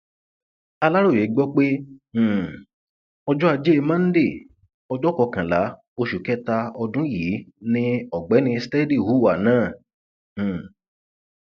aláròye gbọ pé um ọjọ ajé monde ọjọ kọkànlá oṣù kẹta ọdún yìí ni ọgbẹni steady hùwà náà um